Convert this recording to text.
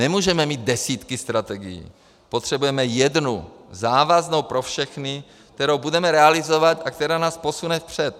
Nemůžeme mít desítky strategií, potřebujeme jednu závaznou pro všechny, kterou budeme realizovat a která nás posune vpřed.